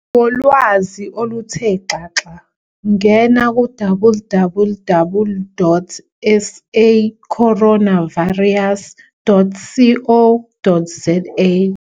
Ngolwazi oluthe xaxa ngena ku-www.sacoronavirus.co.za